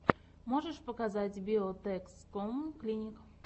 можешь показать биотэкском клиник